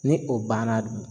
Ni o banna